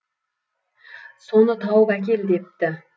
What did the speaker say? соны тауып әкел депті